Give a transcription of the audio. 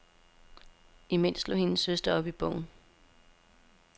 Imens slog hendes søster op i bogen.